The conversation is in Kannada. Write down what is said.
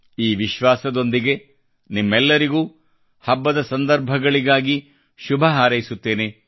ಈ ವಿಶ್ವಾಸದೊಂದಿಗೆ ನಿಮಗೆಲ್ಲರಿಗೂ ಹಬ್ಬದ ಸಂದರ್ಭಗಳಿಗಾಗಿ ಶುಭ ಹಾರೈಸುತ್ತೇನೆ